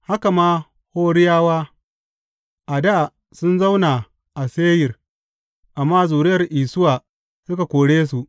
Haka ma Horiyawa, a dā sun zauna a Seyir, amma zuriya Isuwa suka kore su.